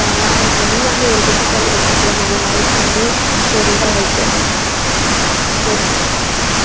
இப்பல்லாம் வந்து எல்லாமே ஒரு digital life குள்ள நம்ம life வந்து ஒரு இது ஆயிட்டு புரியுது